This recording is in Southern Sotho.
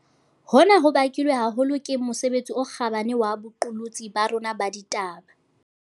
Hona ho bakilwe haholo ke mosebetsi o kgabane wa boqolotsi ba rona ba ditaba.